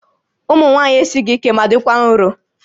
Ụmụ nwaanyị esighi ike ma dịkwa nro